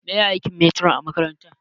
Meye aikin metiron a makaranta?